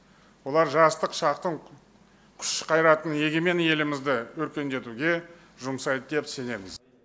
бұлар жастық шақтың күш қайратын егемен елімізді өркендетуге жұмсайды деп сенеміз